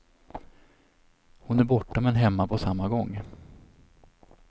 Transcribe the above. Hon är borta men hemma på samma gång.